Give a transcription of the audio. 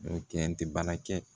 N'o kɛ n tɛ baara kɛ